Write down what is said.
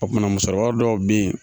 A kumana musokɔrɔba dɔw bɛ yen